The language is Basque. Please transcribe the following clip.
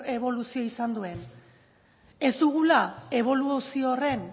eboluzio izan duen ez dugula eboluzio horren